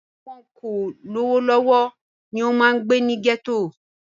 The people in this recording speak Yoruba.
Àwọn tí wọn kò lówó lọ́wọ́ ni ó máa ń gbé ní gẹ́tò